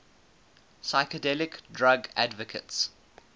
psychedelic drug advocates